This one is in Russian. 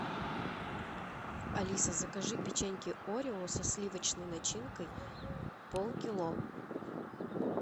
алиса закажи печеньки орео со сливочной начинкой полкило